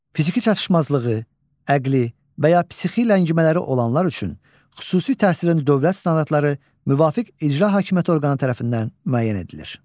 Fiziki çatışmazlığı, əqli və ya psixi ləngimələri olanlar üçün xüsusi təhsilin dövlət standartları müvafiq icra hakimiyyəti orqanı tərəfindən müəyyən edilir.